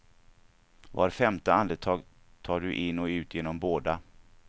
Var femte andetag tar du in och ut genom båda.